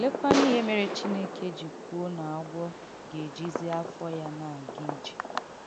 Òléekwànù ihè mèrè Chìnèkè jì kwùò na agwọ̀ ga-èjìzì àfọ́ ya na-aga ije?